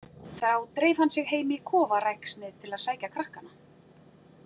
Þá dreif hann sig heim í kofaræksnið til að sækja krakkana.